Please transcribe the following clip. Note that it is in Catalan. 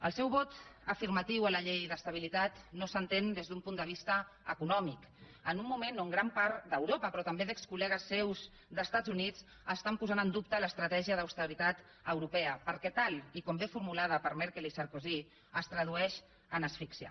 el seu vot afirmatiu a la llei d’estabilitat no s’entén des d’un punt de vista econòmic en un moment on gran part d’europa però també d’excol·legues seus dels estats units estan posant en dubte l’estratègia d’austeritat europea perquè tal com és formulada per merkel i sarkozy es tradueix en asfíxia